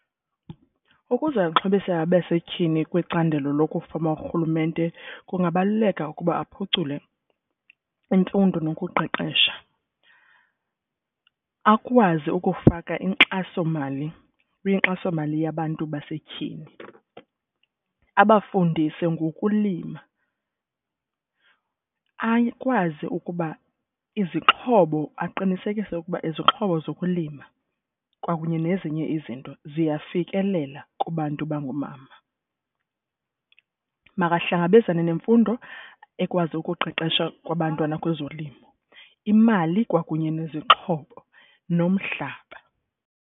Ukuze uxhobise abasetyhini kwicandelo lokufama urhulumente kungabaluleka ukuba aphucule imfundo nokuqeqesha. Akwazi ukufaka inkxasomali kwinkxasomali yabantu basetyhini. Abafundise ngokulima, akwazi ukuba izixhobo aqinisekise ukuba izixhobo zokulima kwakunye nezinye izinto ziyafikelela kubantu bangoomama. Makahlangabezane nemfundo ekwazi ukuqeqesha kwabantwana kwezolimo, imali kwakunye nezixhobo nomhlaba.